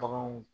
Baganw